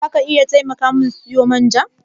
Za ka iya taimaka min siyo man ja?